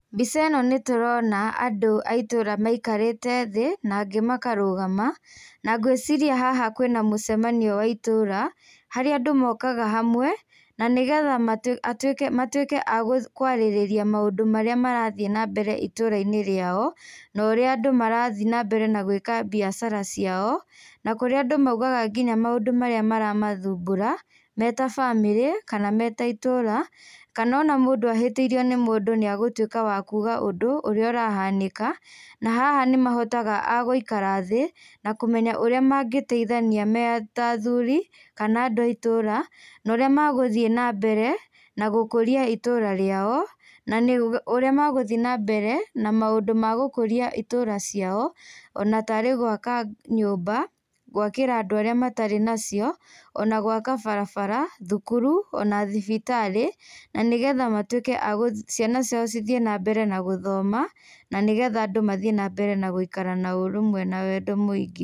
Mbica ĩno nĩtũrona andũ a itũũra maikarĩte thĩ na angĩ makarũgama. Na ngũĩciria haha kwĩna mũcemanio wa itũũra harĩa andũ mokaga hamwe na nĩgetha matũĩke matuĩke akwarĩrĩria maũndũ marĩa marathiĩ na mbere itũũra-inĩ rĩao na ũrĩa andũ marathiĩ na mbere na gwĩka biacara ciao na kũrĩa andũ maugaga nginya maũndũ marĩa maramathumbura me ta bamĩrĩ kana me ta itũũra kana ona mũndũ ahĩtĩirio nĩ mũndũ nĩ egũtũĩka wa kuga ũndũ ũrĩa ũrahanĩka. Na haha nĩmahotaga agũikara thĩ na kũmenya ũrĩa mangĩteithania me ta athuri kana andũ a itũũra na ũrĩa megũthiĩ na mbere na gũkũria itũũra rĩao, na ũrĩa megũthiĩ na mbere na maũndũ magũkũria itũũra ciao, o na tarĩ gwaka nyũmba, gwakira andũ arĩa matarĩ nacio, o na gwaka barabara, thukuru o na thibitarĩ na nĩgetha matũike ciana ciao cithiĩ na mbere na gũthoma na nĩgetha andũ mathiĩ na mbere na gũikara na ũrũmwe na wendo mũingĩ.